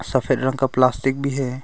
सफेद रंग का प्लास्टिक भी है।